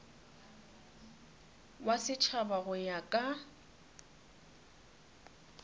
wa setšhaba go ya ka